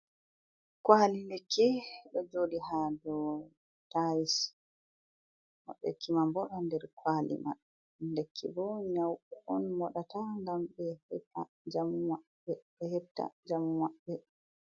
Kwali lekki ɗo joɗi ha dou tais moɗeki mam bo ɗo nder kwali maɓɓe lekki bo nyauɓe on moɗata gam be heɓta jamu maɓɓe.